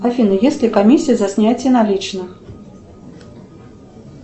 афина есть ли комиссия за снятие наличных